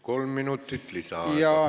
Kolm minutit lisaaega.